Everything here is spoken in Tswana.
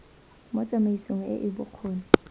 mo tsamaisong e e bokgoni